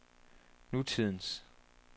nutidens